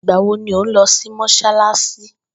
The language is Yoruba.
Ìgbà wo ni ò n lọ sí mọ́sálásí.